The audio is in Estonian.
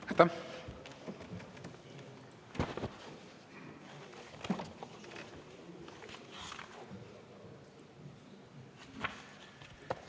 Aitäh!